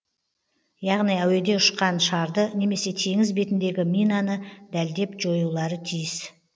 яғни әуеде ұшқан шарды немесе теңіз бетіндегі минаны дәлдеп жоюлары тиіс